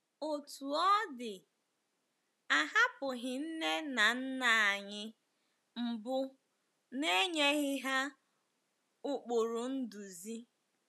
Otú ọ dị, a hapụghị nne na nna anyị mbụ n’enyeghị ha ụkpụrụ nduzi.